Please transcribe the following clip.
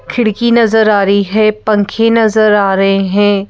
खिड़की नजर आ रही है पंखे नजर आ रहे हैं।